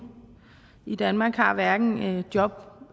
i danmark har hverken job